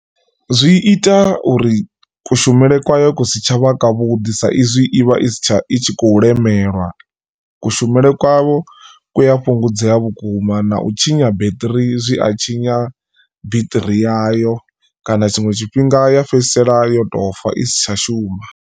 Zwi ita uri kushumele kwa yo kusi tsha vha kwavhuḓi sa izwi ivha i si tsha i tshi khou lemelwa kushumele kwavho ku ya fhungudzea vhukuma na u tshinya beṱiri zwi a tshinya beṱiri yayo kana tshiṅwe tshifhinga ya fhedzisela yo tofa isi tsha shuma.